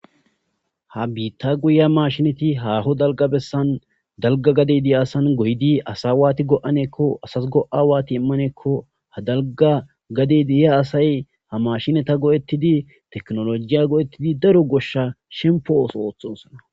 Ha bitha goyiya mashineti haho dalga bessan haho dalga gaden goanko asas go,a wathi imanako ha dalga gade deyiya asayi mashinetha go,etidi tekinoloje go,etidi shempo oso othosona